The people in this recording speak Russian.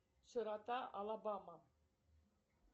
широта алабама